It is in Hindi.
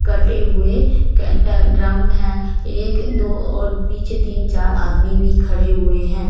कट्टे हुए कैटर ड्रम है एक दो और पीछे तीन चार आदमी भी खड़े हुए है।